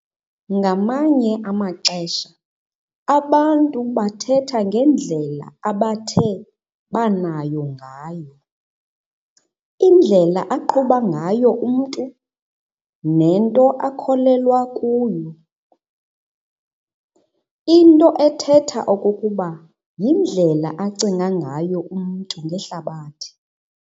Ngamanye amaxesha abantu bathetha ngendlela abathe banayo ngayo "indlela aqhuba ngayo umntu, nento akholelwa kuyo", into ethetha okokuba yindlela acinga ngayo umntu ngehlabathi.